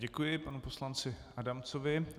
Děkuji panu poslanci Adamcovi.